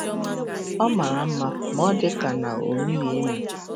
Ọ mara mma, ma ọ dị ka ọ na-emighị emi!